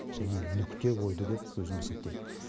және нүкте қойды деп өзім есептеймін